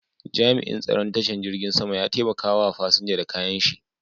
Jami'in tsaron tashar jirgin sama ya taimaka wa fasinja da kayan shi.